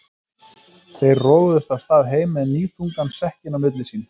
Þeir roguðust af stað heim með níðþungan sekkinn á milli sín.